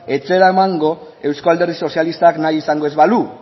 ez zela emango eusko alderdi sozialistak nahi izango ez balu